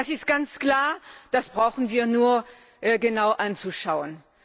Das ist ganz klar, das brauchen wir nur genau anzuschauen.